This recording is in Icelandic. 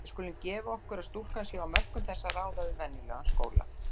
Við skulum gefa okkur að stúlkan sé á mörkum þess að ráða við venjulegan skóla.